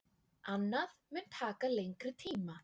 Annað mun taka lengri tíma.